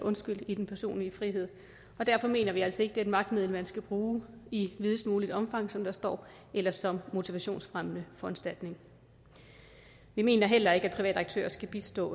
i den personlige frihed og derfor mener vi altså ikke er et magtmiddel man skal bruge i videst muligt omfang som der står eller som motivationsfremmende foranstaltning vi mener heller ikke at private aktører skal bistå